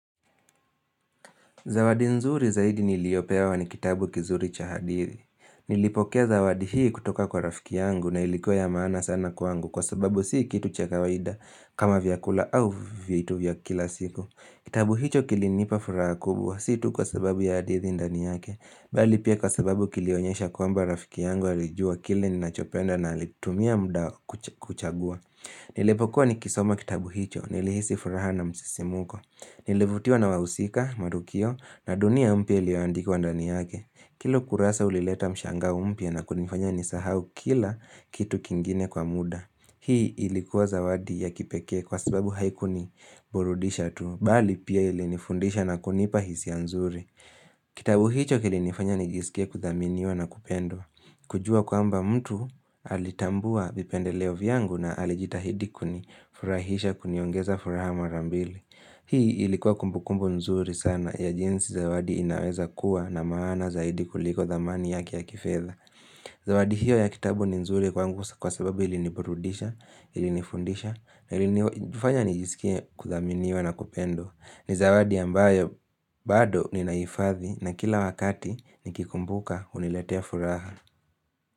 Zawadi nzuri zaidi niliopewa ni kitabu kizuri cha hadithi. Nilipokea zawadi hii kutoka kwa rafiki yangu na ilikuwa ya maana sana kwangu kwa sababu si kitu cha kawaida kama vyakula au vitu vyakila siku. Kitabu hicho kilinipa furaha kubwa, si tu kwa sababu ya hadithi ndani yake. Bali pia kwa sababu kilionyesha kwamba rafiki yangu alijua kile ninachopenda na alitumia muda kuchagua. Nilipokuwa nikisoma kitabu hicho, nilihisi furaha na msisimko. Nilevutiwa na wahusika marukio na dunia mpya iliyoandikwa ndani yake Kila ukurasa ulileta mshanga mpya na kunifanya nisahau kila kitu kingine kwa muda Hii ilikuwa zawadi ya kipekee kwa sababu haikuniburudisha tu Bali pia ilinifundisha na kunipa hisia nzuri Kitabu hicho kilinifanya nijisikie kuthaminiwa na kupendwa Kujuwa kwamba mtu alitambua vipendeleo vyangu na alijitahidi kuni furahisha kuniongeza furaha marambili Hii ilikuwa kumbukumbu nzuri sana ya jinsi zawadi inaweza kuwa na maana zaidi kuliko dhamani yaki ya kifedha. Zawadi hiyo ya kitabu ni nzuri kwangu kwa sababu iliniburudisha, ilinifundisha, na ilinifanya nijisikie kuthaminiwa na kupendwa. Ni zawadi ambayo bado ninaifathi na kila wakati nikikumbuka huniletea furaha.